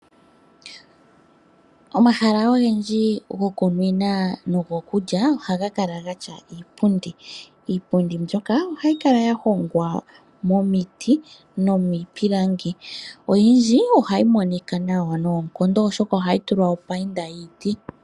Omahala ogendji gokunwina nogokulila ohaga kala ge na iipundi. Iipundi mbyoka ohayi kala ya hongwa momiti nomiipilangi. Oyindji ohayi monika nawa noonkondo oshoka ohayi tulwa opainda yiiti.